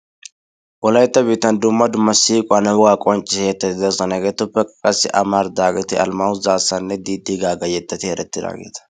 Wolaytta biittan dumma dumma siquuwaanne wogaa qonccisiyaa yeetatti de'oosona. Hegeetuppe amaridaageti Almaayyoo zaassanne Diidi Gaaga yettati erettiraageeta.